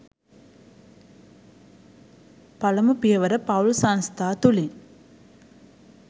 පළමු පියවර පවුල් සංස්ථා තුළින්